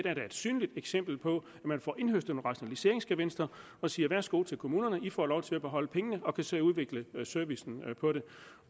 er der et synligt eksempel på at man får indhøstet nogle rationaliseringsgevinster og siger værsgo til kommunerne i får lov til at beholde pengene og kan selv udvikle servicen